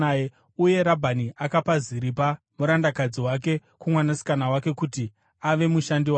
Uye Rabhani akapa Ziripa murandakadzi wake kumwanasikana wake kuti ave mushandi wake.